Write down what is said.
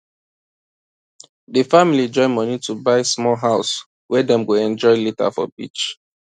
d family join money to buy small house wey dem go enjoy later for beach